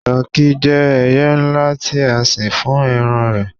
tọki je ẹyẹ nla ti a sìn fún eran rẹ